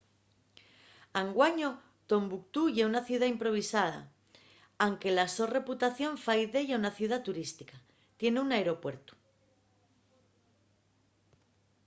anguaño tombuctú ye una ciudá improvisada anque la so reputación fai d’ella una ciudá turística. tien un aeropuertu